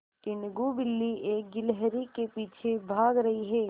टीनगु बिल्ली एक गिल्हरि के पीछे भाग रही है